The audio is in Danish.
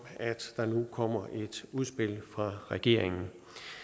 at der nu kommer et udspil fra regeringen